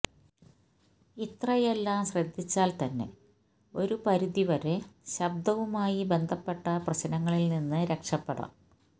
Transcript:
ഇത്രയെല്ലാം ശ്രദ്ധിച്ചാല് തന്നെ ഒരു പരിധി വരെ ശബ്ദവുമായി ബന്ധപ്പെട്ട പ്രശ്നങ്ങളില് നിന്ന് രക്ഷപ്പെടാം